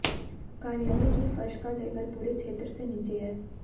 कार्यालय की फर्श का लेवल पूरे क्षेत्र से नीचे है